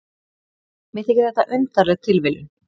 Mér þykir þetta undarleg tilviljun.